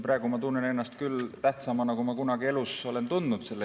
Praegu ma tunnen ennast selle küsimuse peale küll tähtsamana, kui ma kunagi elus olen tundnud.